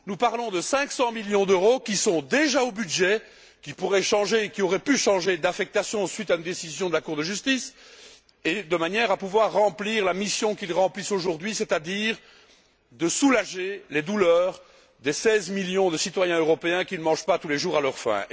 Nous parlons de cinq cent millions d'euros qui sont déjà au budget, qui pourraient changer et qui auraient pu changer d'affectation suite à une décision de la Cour de justice de manière à remplir la mission qu'ils remplissent aujourd'hui, c'est à dire soulager les douleurs des seize millions de citoyens européens qui ne mangent pas tous les jours à leur faim.